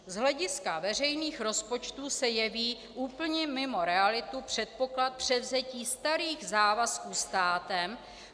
Z hlediska veřejných rozpočtů se jeví úplně mimo realitu předpoklad převzetí starých závazků státem.